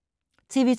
TV 2